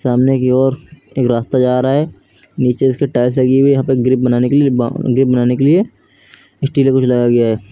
सामने की ओर एक रास्ता जा रहा है नीचे उसके टायर्स लगी हुई है यहां पे ग्रिप बनाने के लिए ग्रिप बनाने के लिए स्टील भी कुछ लगाया गया है।